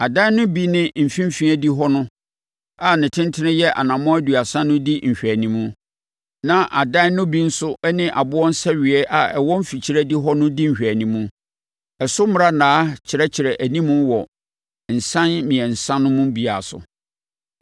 Adan no bi ne mfimfini adihɔ no a ne tentene yɛ anammɔn aduasa no di nhweanim. Na adan no bi nso ne aboɔ nsɛweeɛ a ɛwɔ mfikyire adihɔ no di nhwɛanim. Ɛso mmrannaa kyerɛkyerɛ anim wɔ nsan mmiɛnsa no mu biara so.